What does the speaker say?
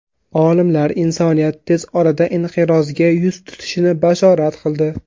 Olimlar insoniyat tez orada inqirozga yuz tutishini bashorat qildi.